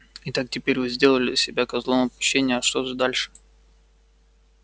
итак теперь вы сделали себя козлом отпущения а что же дальше